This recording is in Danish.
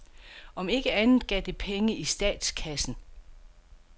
Om ikke andet gav det penge i statskassen.